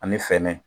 Ani fɛrɛ